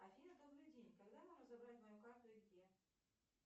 афина добрый день когда можно забрать мою карту и где